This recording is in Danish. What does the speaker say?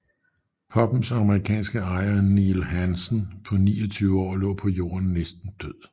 Pubbens amerikanske ejer Neil Hansen på 29 år lå på jorden næsten død